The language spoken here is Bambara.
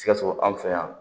Sikaso anw fɛ yan